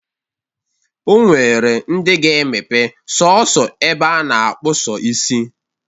O nwere ndị ga-emepe sọọsọ ebe a na-akpụ sọ isi.